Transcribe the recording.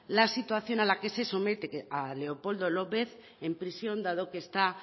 la situación a la que se somete a leopoldo lópez en prisión dado que está